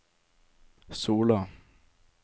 Sola